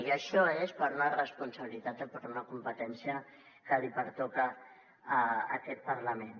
i això és per una responsabilitat i per una competència que li pertoca a aquest parlament